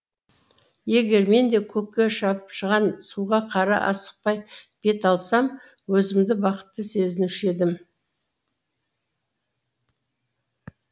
егер мен де көкке шапшыған суға қара асықпай бет алсам өзімді бақытты сезінуші едім